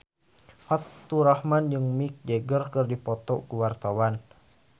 Faturrahman jeung Mick Jagger keur dipoto ku wartawan